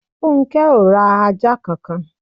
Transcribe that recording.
Funke o ra ajá kankan.